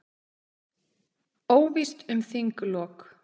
Óvíst um þinglok